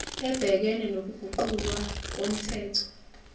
ebhekene nokuguqulwa komthetho